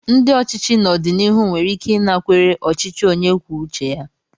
Ndị ochichi n'ọdịnihu nwere ike ịnakwere ọchịchị onye kwuo uche ya.